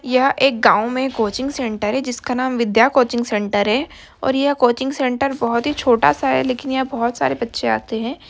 यह एक गाँव में कोचिंग सेंटर है जिसका नाम विद्या कोचिंग सेंटर है और यह कोचिंग सेंटर बहुत ही छोटा सा है लेकिन यहाँ बहुत सारे बच्चे आते है।